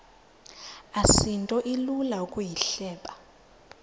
asinto ilula ukuyihleba